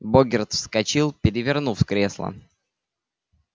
богерт вскочил перевернув кресло